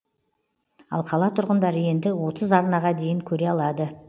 ал қала тұрғындары енді отыз арнаға дейін көре алады